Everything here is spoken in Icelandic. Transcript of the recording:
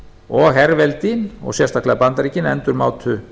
og herveldi og sérstaklega bandaríkin endurmátu